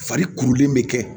Fari kurulen bɛ kɛ